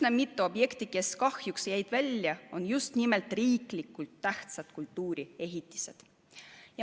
Üsna mitu objekti, mis kahjuks jäid välja, on just nimelt riiklikult tähtsad kultuuriehitised.